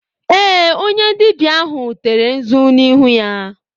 Ee, onye dibịa ahụ tere nzu n'ihu ya.